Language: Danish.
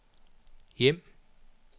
hjem